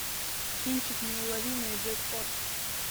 кинчик неуловимые джекпот